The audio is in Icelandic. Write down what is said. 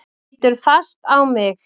Hún lítur fast á mig.